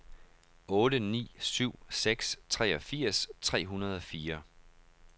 otte ni syv seks treogfirs tre hundrede og fire